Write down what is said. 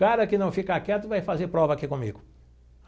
Cara que não ficar quieto vai fazer prova aqui comigo.